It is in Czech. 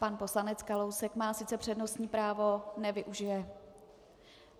Pan poslanec Kalousek má sice přednostní právo, nevyužije.